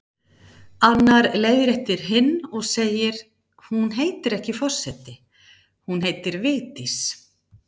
Annar leiðréttir hinn og segir: Hún heitir ekki forseti, hún heitir Vigdís